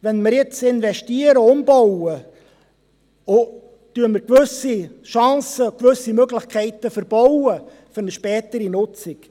Wenn wir jetzt investieren und umbauen, verbauen wir uns gewisse Chancen und Möglichkeiten für eine spätere Nutzung.